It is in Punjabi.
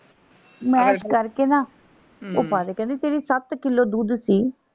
ਮੈਸ਼ ਕਰਕੇ ਨਾ ਉਹ ਪਾ ਦੇ ਕਹਿੰਦੇ ਤੇਰੇ ਸੱਤ ਕਿੱਲੋ ਦੁੱਧ ਸੀ।